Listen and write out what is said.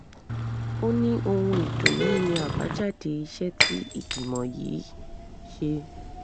ó ní ohun ìdùnnú ni àbájáde iṣẹ́ tí ìgbìmọ̀ yìí ṣe